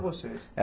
Vocês? É